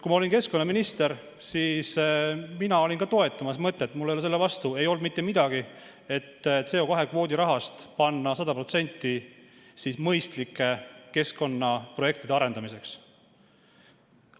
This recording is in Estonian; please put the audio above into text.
Kui ma olin keskkonnaminister, siis ka mina toetasin mõtet, mul ei olnud selle vastu mitte midagi, et 100% CO2 kvoodi rahast panna mõistlike keskkonnaprojektide arendamisse.